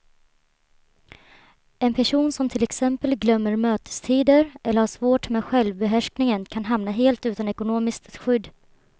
En person som till exempel glömmer mötestider eller har svårt med självbehärskningen kan hamna helt utan ekonomiskt skydd.